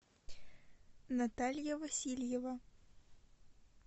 наталья васильева